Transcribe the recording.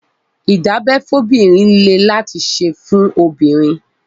ìdábẹ́ fóbìnrin lé láti ṣe fún obìnrin.